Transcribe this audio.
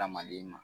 Hadamaden ma